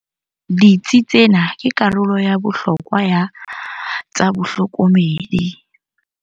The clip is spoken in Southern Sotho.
Ditsi tsena ke karolo ya bohlokwa ya tsa bohlokomedi.